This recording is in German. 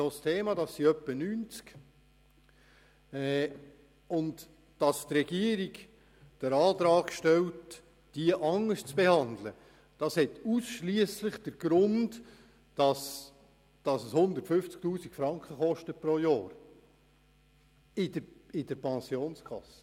Dass die Regierung den Antrag stellt, diese anders zu behandeln, hat ausschliesslich den Grund, dass es pro Jahr 150 000 Franken kostet.